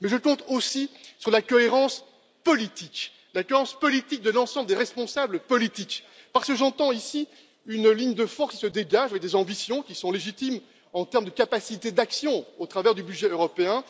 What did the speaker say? Mais je compte aussi sur la cohérence politique de l'ensemble des responsables politiques, parce que j'entends ici une ligne de force qui se dégage et des ambitions qui sont légitimes en terme de capacité d'action au travers du budget européen.